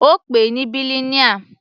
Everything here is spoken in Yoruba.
Ó pè ní bilineal.